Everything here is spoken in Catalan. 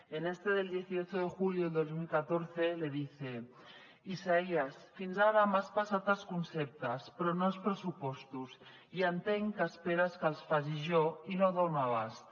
en este del divuit de julio de dos mil catorze le dice isaías fins ara m’has passat els conceptes però no els pressupostos i entenc que esperes que els faci jo i no dono abast